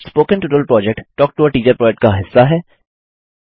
spoken tutorial project talk to a teacher project का हिस्सा है